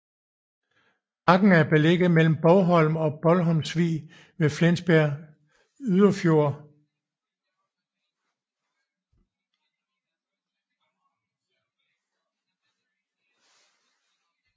Bakken er beliggende mellem Bogholm og Bogholmvig ved Flensborg Yderfjord overfor halvøen Broager